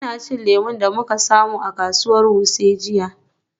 Ina cin lemu da muka samu a kasuwar Wuse jiya.